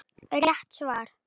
Rétt svar!